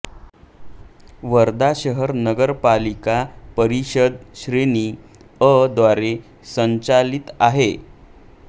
वर्धा शहर नगरपालिका परिषद श्रेणी अ द्वारे संचालित आहे